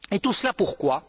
Et tout cela pour quoi?